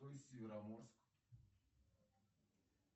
североморск